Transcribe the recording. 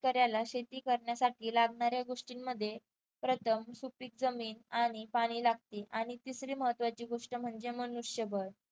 शेतकऱ्याला शेती करण्यासाठी लागणाऱ्या गोष्टींमध्ये प्रथम सुपीक जमीन आणि पाणी लागते आणि तिसरी महत्त्वाची गोष्ट म्हणजे मनुष्यबळ.